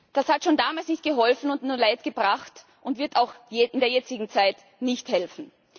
Das hat schon damals nicht geholfen und nur Leid gebracht und wird auch in der jetzigen Zeit nicht helfen.